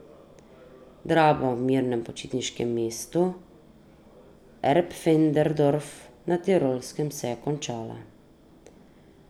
Drama v mirnem počitniškem mestu Erpfendorf na Tirolskem se je končala.